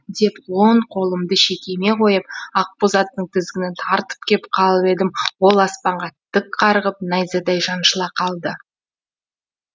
деп он қолымды шекеме қойып ақбоз аттың тізгінін тартып кеп қалып едім ол аспанға тік қарғып найзадай шаншыла қалды